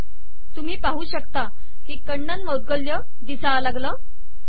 तुम्ही बघू शकता की कण्णन मौद्गल्य दिसू लागले